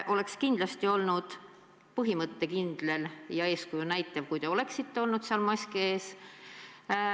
Oleks kindlasti olnud põhimõttekindel ja eeskuju näitav, kui te oleksite olnud seal, mask ees.